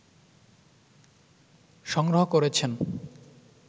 সংগ্রহ করেছেন